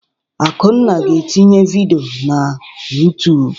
Akunna ga-etinye vidiyo na YouTụ́b.